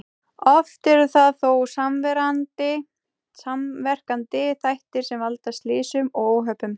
Oft eru það þó samverkandi þættir sem valda slysum og óhöppum.